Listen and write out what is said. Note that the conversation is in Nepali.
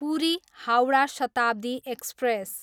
पुरी, हाउडा शताब्दी एक्सप्रेस